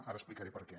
ara explicaré per què